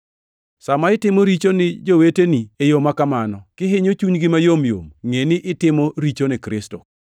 Sa ma itimo richo ni joweteni e yo makamano, kihinyo chunygi mayom yom, ngʼeni itimo richo ni Kristo.